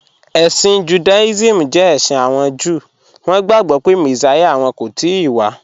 Ẹ̀ṣin Judaism jẹ ẹ̀ṣin awọn Júù, wọn gbagbọ pe Messia wọn kò tìí wà